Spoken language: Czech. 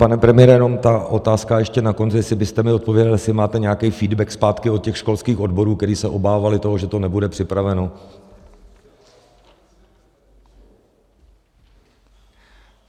Pane premiére, jenom ta otázka ještě na konci, jestli byste mi odpověděl, jestli máte nějaký feedback zpátky od těch školských odborů, které se obávaly toho, že to nebude připraveno.